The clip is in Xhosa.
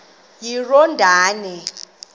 iyordane